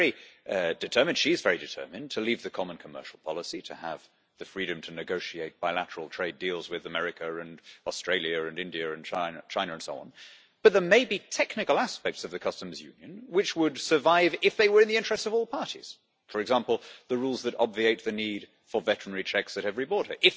We are very determined she is very determined to leave the common commercial policy and to have the freedom to negotiate bilateral trade deals with America and Australia and India and China and so on, but there may be technical aspects of the Customs Union which would survive if they were in the interests of all parties for example, the rules that obviate the need for veterinary checks at every border.